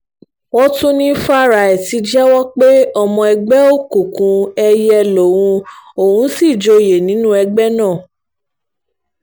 wọ́n tún ní fáráì ti jẹ́wọ́ pé ọmọ ẹgbẹ́ òkùnkùn èìyẹ́ lòun òun sì joyè nínú ẹgbẹ́ náà